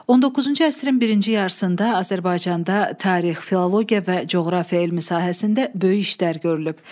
19-cu əsrin birinci yarısında Azərbaycanda tarix, filologiya və coğrafiya elmi sahəsində böyük işlər görülüb.